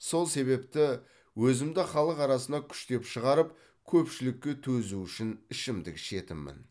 сол себепті өзімді халық арасына күштеп шығарып көпшілікке төзу үшін ішімдік ішетінмін